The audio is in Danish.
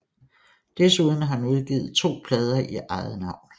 Desuden har han udgivet to plader i eget navn